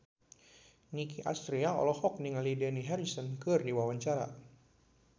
Nicky Astria olohok ningali Dani Harrison keur diwawancara